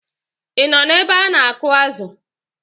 Ị nọ ebe a na-akụ̀ azụ̀?